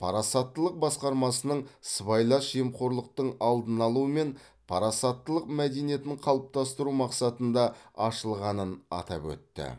парасаттылық басқармасының сыбайлас жемқорлықтың алдын алу мен парасаттылық мәдениетін қалыптастыру мақсатында ашылғанын атап өтті